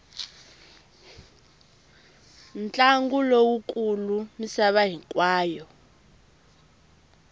ntlangu lowu kulu misava hinkwayo